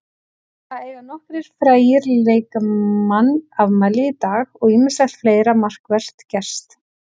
Það eiga nokkrir frægir leikmann afmæli í dag og ýmislegt fleira markvert gerst.